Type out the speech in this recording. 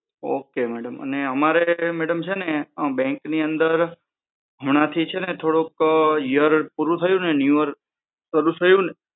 okay mdam અને અમારે madam છે ને bank ની અંદર હમણાં થી છે ને થોડોક year પૂરું થયું ને new year